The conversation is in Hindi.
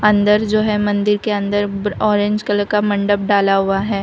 अंदर जो है मंदिर के अंदर ब ऑरेंज कलर का मंडप डाला हुआ है।